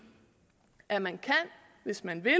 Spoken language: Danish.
at man hvis man vil